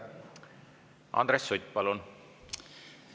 Andres Sutt, palun!